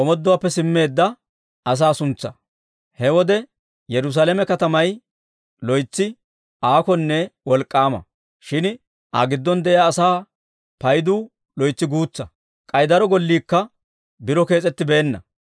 He wode Yerusaalame katamay loytsi aakonne wolk'k'aama; shin Aa giddon de'iyaa asaa paydu loytsi guutsaa. K'ay daro golliikka biro kees'ettibeenna.